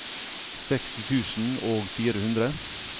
seksti tusen og fire hundre